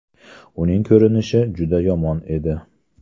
Uning ko‘rinishi juda yomon edi.